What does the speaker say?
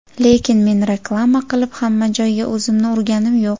Lekin men reklama qilib, hamma joyga o‘zimni urganim yo‘q.